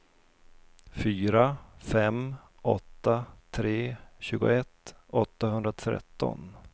fyra fem åtta tre tjugoett åttahundratretton